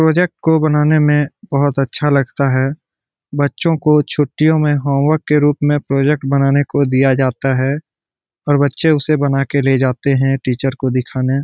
Project को बनाने में बोहोत अच्छा लगता है। बच्चों को छुट्टियों में होम वर्क के रूप में प्रोजेक्ट बनाने को दिया जाता है और बच्चे उसे बना के ले जाते हैं टीचर को दिखाने।